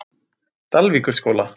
Dalvíkurskóla